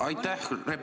Aitäh!